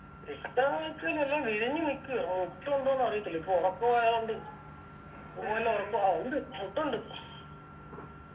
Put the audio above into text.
റിട്ടാന്ന് വെച്ചയിഞ്ഞാ എല്ലാം വിരിഞ്ഞ് നിക്ക്ആ നിക്കോ ഉണ്ടോന്ന് അറിയത്തില്ല ഇപ്പൊ ഉറക്കം ആയോണ്ട് ഓല ഒക്കെ ആഹ് ഉണ്ട് മൊട്ടുണ്ട്